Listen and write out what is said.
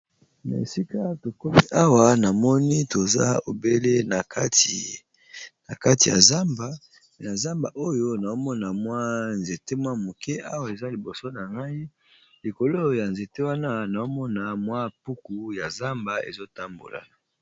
Na esika tokomi awa na moni toza obele na kati ya zamba, na zamba oyo nao mona mwa nzete mwa moke awa eza liboso na ngai likolo ya nzete wana naomona mwa puku ya zamba ezo tambola.